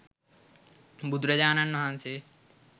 බුදුරජාණන් වහන්සේ